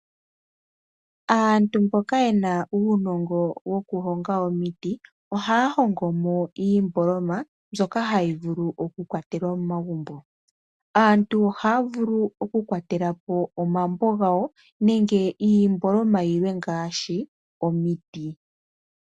Aantu mboka yena uunongo woku honga omiti . Ohaya hongomo iimboloma mbyoka hayi vulu oku kwatelwa momagumbo . Aantu ohaya vulu oku kwatelapo omambo gawo . Nenge iimboloma yilwe ngaashi omiti.